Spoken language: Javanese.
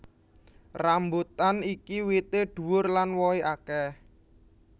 Rambutan iki wité dhuwur lan wohé akeh